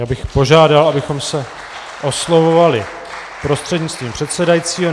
Já bych požádal, abychom se oslovovali prostřednictvím předsedajícího.